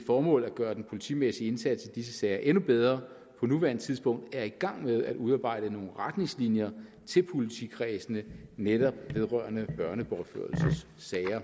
formål at gøre den politimæssige indsats i disse sager endnu bedre på nuværende tidspunkt er i gang med at udarbejde nogle retningslinjer til politikredsene netop vedrørende børnebortførelsessager